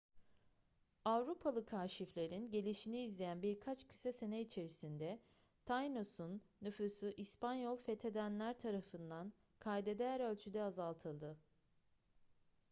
avrupalı kaşiflerin gelişini izleyen birkaç kısa sene içerisinde tainos'un nüfusu i̇spanyol fethedenler tarafından kayda değer ölçüde azaltıldı